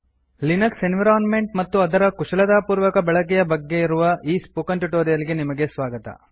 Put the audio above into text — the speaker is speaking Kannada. ಲಿನಕ್ಸ್ ಎನ್ವಿರೋನ್ಮೆಂಟ್ ಮತ್ತು ಅದರ ಕುಶಲತಾಪೂರ್ವಕ ಬಳಕೆಯ ಬಗ್ಗೆ ಇರುವ ಈ ಟ್ಯುಟೋರಿಯಲ್ ಗೆ ನಿಮಗೆ ಸ್ವಾಗತ